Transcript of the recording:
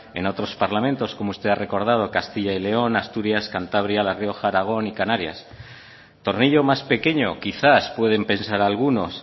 en otros parlamentos como usted ha recordado castilla y león asturias cantabria la rioja aragón y canarias tornillo más pequeño quizás pueden pesar algunos